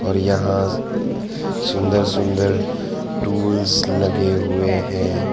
और यहां सुंदर सुंदर टूल्स लगे हुए हैं।